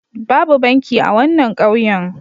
Babu banki a wannan ƙauyen.